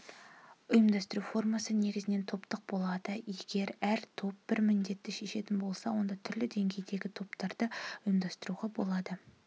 ұйымдастыру формасы негізінен топтық болады егер әр топ бір міндетті шешетін болса онда түрлі деңгейдегі топтарды ұйымдастыруға болады